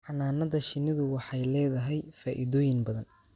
Xannaanada shinnidu waxay leedahay faa'iidooyin badan,